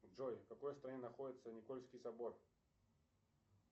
джой в какой стране находится никольский собор